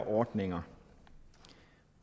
ordninger